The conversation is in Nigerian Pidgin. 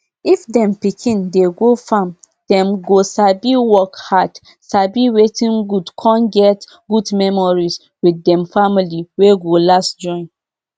if dem pikin dey go farmdem go sabi work hardsabi wetin goodcon get good memories with dem family wey go last join